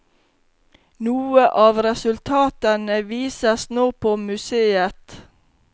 Noen av resultatene vises nå på museet.